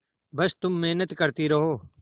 बस तुम मेहनत करती रहो